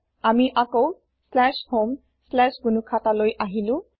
আমি আকৌ homegnuhata লৈ আহিলো